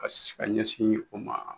Ka sin ka ɲɛsin o ma.